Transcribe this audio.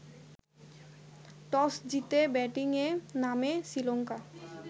toss জিতে ব্যাটিংয়ে নামে শ্রীলঙ্কা